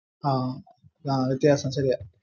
ആ